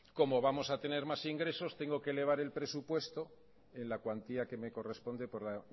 cómo vamos a tener más ingresos tengo que elevar el presupuesto en la cuantía que me corresponde por la